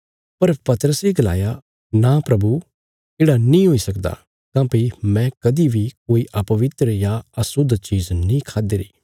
पर पतरसे गलाया नां प्रभु येढ़ा नीं हुई सकदा काँह्भई मैं कदीं बी कोई अपवित्र या अशुद्ध चीज़ नीं खाद्दि री